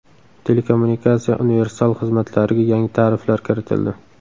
Telekommunikatsiya universal xizmatlariga yangi tariflar kiritildi.